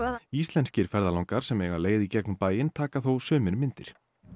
íslenskir ferðalangar sem eiga leið í gegnum bæinn taka þó sumir myndir